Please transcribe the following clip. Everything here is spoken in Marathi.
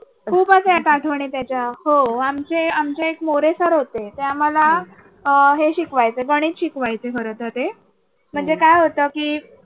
खूपच आहेत आठवणी त्याच्या हो आमचे आमचे मोरे सर होते. ते आम्हाला आहे हे शिकवायचे. गणित शिकवायचे खर तर ते म्हणजे काय होतं.